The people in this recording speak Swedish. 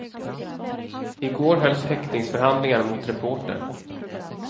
I går hölls häktningsförhandlingar mot reportern.